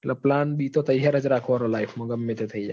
એટલે plan b તો તૈયાર જ રાખવા નો life માં ગમે તે થઇ જાય.